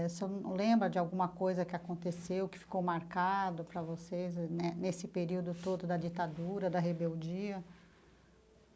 O senhor não lembra de alguma coisa que aconteceu, que ficou marcado para vocês né nesse período todo da ditadura, da rebeldia?